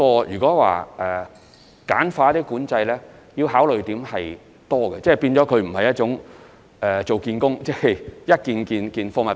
如果要簡化管制，我們須考慮的地方很多，因為所涉及的工作並非處理一件貨物。